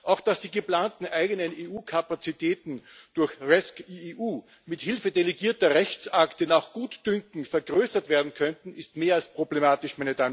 Auch, dass die geplanten eigenen EU Kapazitäten durch rescEU mithilfe delegierter Rechtsakte nach Gutdünken vergrößert werden könnten, ist mehr als problematisch.